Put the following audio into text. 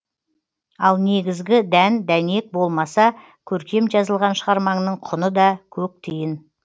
ал негізгі дән дәнек болмаса көркем жазылған шығармаңның құны да көк тиын